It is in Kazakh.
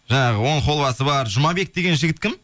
жаңағы он холвасы бар жұмабек деген жігіт кім